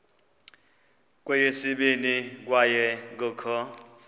kweyesibini kwaye kukho